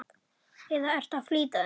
eða ertu að flýta þér?